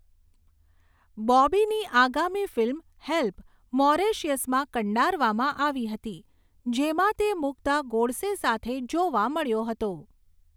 બોબીની આગામી film 'Help' મોરેશિયસમાં કંડારવામાં આવી હતી, જેમાં તે મુગ્ધા ગોડસે સાથે જોવા મળ્યો હતો.